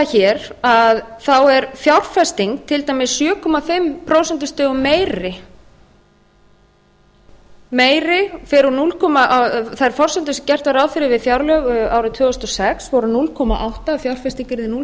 hér að þá er fjárfesting til dæmis sjö komma fimm prósentum meiri þær forsendur sem gert var ráð fyrir við fjárlög árið tvö þúsund og sex voru núll komma átta prósent að fjárfesting yrði núll